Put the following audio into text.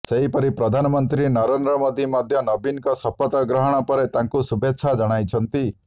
ସେହିପରି ପ୍ରଧାନମନ୍ତ୍ରୀ ନରେନ୍ଦ୍ର ମୋଦି ମଧ୍ୟ ନବୀନଙ୍କ ଶପଥ ଗ୍ରହଣ ପରେ ତାଙ୍କୁ ଶୁଭେଚ୍ଛା ଜଣାଇଛନ୍ତି